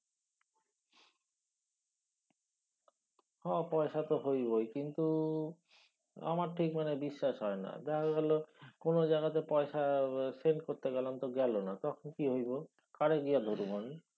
হ পয়সা তো হইবই কিন্তু আমার ঠিক মানে বিশ্বাস হয়না। দেখা গেলো কোনও জায়গাতে পয়সা send করতে গেলাম গেলনা তখন কি হইব? কারে গিয়া ধরুম আমি?